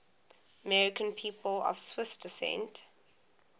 american people of swiss descent